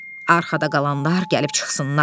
Arxada qalanlar gəlib çıxsınlar.